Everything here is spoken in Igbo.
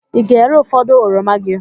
Ị ga-ere ụfọdụ oroma gị?